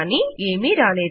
కానీ ఏమీ రాలేదు